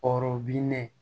ne